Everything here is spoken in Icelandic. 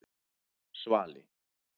Svali